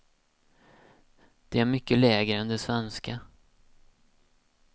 De är mycket lägre än de svenska.